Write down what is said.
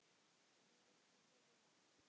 Hverju viltu byrja á?